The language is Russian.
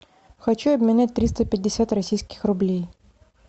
хочу обменять триста пятьдесят российских рублей